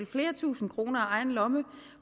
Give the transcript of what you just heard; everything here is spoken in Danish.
flere tusind kroner af egen lomme